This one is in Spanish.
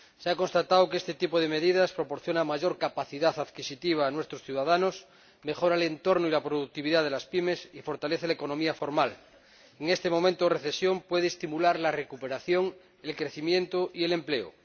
Se ha constatado que este tipo de medidas proporciona mayor capacidad adquisitiva a nuestros ciudadanos, mejora el entorno y la productividad de las PYME y fortalece la economía formal. En este momento de recesión puede estimular la recuperación, el crecimiento y el empleo.